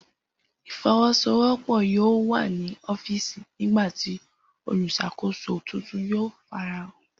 Ifowosowopo yoo wa ni ọfíìsì nigbati oluṣakoso tuntun yoo farahan.